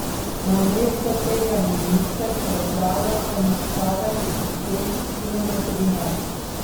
Namesto tega minister predlaga enostaven sistem kilometrine.